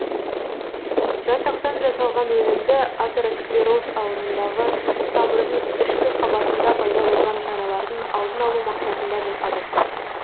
жантақтан жасалған өнімді атеросклероз ауруындағы тамырдың ішкі қабатында пайда болған жаралардың алдын алу мақсатында жасадық